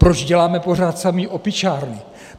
Proč děláme pořád samý opičárny?